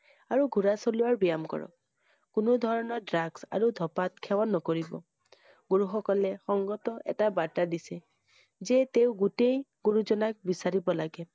আৰু ঘোঁৰা চলোৱা বিয়াম কৰক। কোনো ধৰণৰ ড্ৰাগছ আৰু ধপাত সেৱন নকৰিব। পুৰুষসকলে সংগত এটা বাৰ্তা দিছে যে তেওঁ গোটেই গুৰুজনাক বিচাৰিব লাগে ।